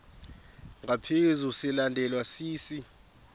ngaphezu silandelwa sisi